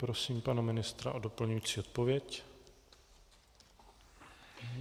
Prosím pana ministra o doplňující odpověď.